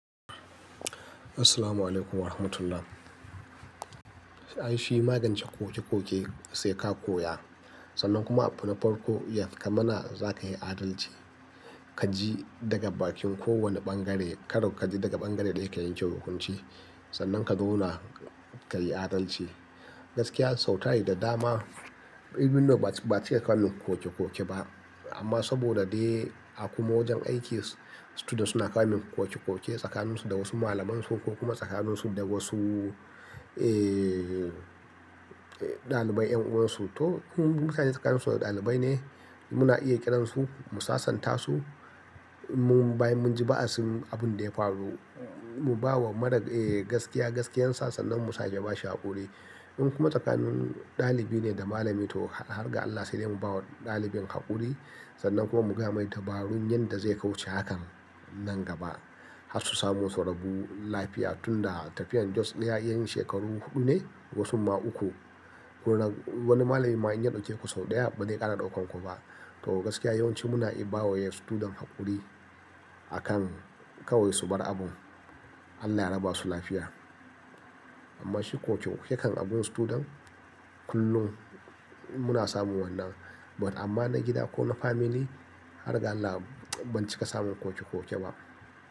Assalamualaikum Warahmatullahi. Ai shi magancen koke-koke sai ka koya sannan kuma abu na farko ya zamana za ka yi adalci. Ka ji daga bakin kowane bangare, karo ka ji daga bangare daya ka yanke hukunci sannan ka zauna ka yi adalci. Gaskiya sau tari da dama, even though ba'a cika kawo min koke-koke ba. Amma saboda dai a kuma wajen aiki, students suna kawo min koke-koke tsakaninsu da wasu malamansu ko kuma tsakaninsu da wasu, eh, eh, ɗalibai yan uwansu. To in mutane tsakaninsu ɗalibai ne, muna iya ƙiransu mu sasanta su. Bayan mun ji ba'asin abun da ya faru mu bawa mara, eh, gaskiya gaskiyan sa sannan mu sa yaba shi haƙuri. In kuma tsakanin ɗalibi ne da malami to har ga Allah sai dai mu bawa ɗalibin haƙuri sannan kuma mu gaya mai dabarun yanda zai kauce hakan nan gaba. Har su samu sau rabu lafiya tun da tafiyar Just iya yan shekaru huɗu ne wasu ma uku. Wani malami ma in ya ɗauke ku sau ɗaya ba zai ƙara ɗaukar ku ba. To gaskiya yawanci muna iya bawa student haƙuri akan kawai su bar abun. Allah ya raba su lafiya. Amma shi koke-koke kan agun student kullum muna samun wannan. But amma na gida ko na family har ga Allah ban cika samun koke-koke ba.